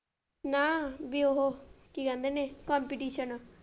ਨਾ ਬੀ ਉਹ ਕੀ ਕਹਿੰਦੇ ਨੇ ਆ।